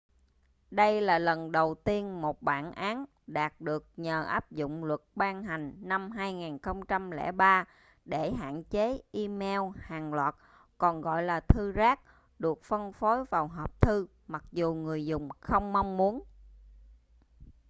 đây là lần đầu tiên một bản án đạt được nhờ áp dụng luật ban hành năm 2003 để hạn chế e-mail hàng loạt còn gọi là thư rác được phân phối vào hộp thư mặc dù người dùng không mong muốn